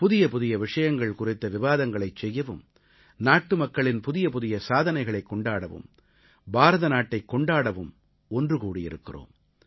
புதியபுதிய விஷயங்கள் குறித்த விவாதங்களைச் செய்யவும் நாட்டுமக்களின் புதியபுதிய சாதனைகளைக் கொண்டாடவும் பாரதநாட்டைக் கொண்டாடவும் ஒன்று கூடியிருக்கிறோம்